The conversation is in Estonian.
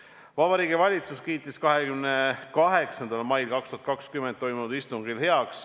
" Vabariigi Valitsus kiitis 28. mail 2020 toimunud istungil heaks